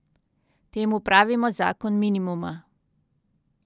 Temu pravimo zakon minimuma.